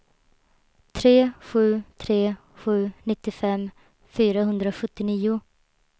tre sju tre sju nittiofem fyrahundrasjuttionio